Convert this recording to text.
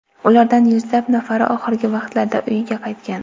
Ulardan yuzlab nafari oxirgi vaqtlarda uyiga qaytgan.